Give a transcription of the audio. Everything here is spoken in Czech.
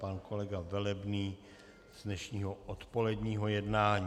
Pan kolega Velebný z dnešního odpoledního jednání.